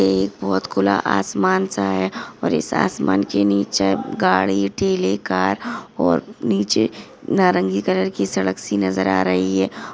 ये एक बहुत खुला आसमान सा है और इस आसमान के नीचे गाड़ी टिले कार और नीचे नारंगी कलर की सड़क सी नजर आ रही है।